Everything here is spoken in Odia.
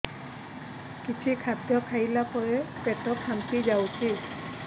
କିଛି ଖାଦ୍ୟ ଖାଇଲା ପରେ ପେଟ ଫାମ୍ପି ଯାଉଛି